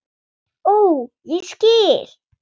Ó, ég skil!